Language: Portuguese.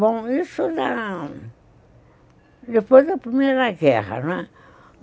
Bom, isso não...Depois da Primeira Guerra, né.